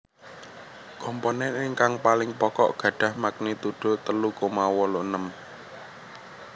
Komponen ingkang paling pokok gadhah magnitudo telu koma wolu enem